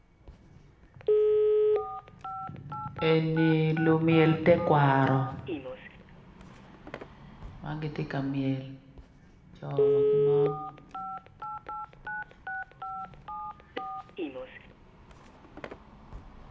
Eni lumyel tekwaro ma gitye ka myel co wa ki mon.